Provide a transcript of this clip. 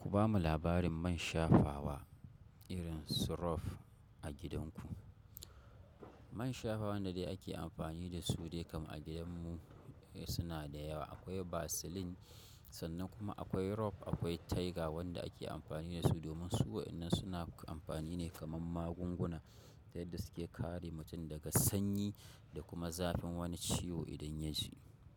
Ku bamu labarin man shafawa irin su rof a gidanku. Man shafawa wanda dai ake amfani da su dai kam a gidan mu suna da yawa. Akwai Vaseline sannan kuma akwai rof, akwai tiger wanda ake amfani da su domin su waɗannan suna amfani ne kamar magunguna, yadda suke kare mutum daga sanyi da kuma zafin wani ciwo idan ya ji.